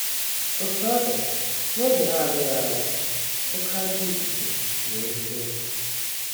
Otú ọ dị, n’oge na - adịghị anya, “ oké ajọ ifufe wee fee. ”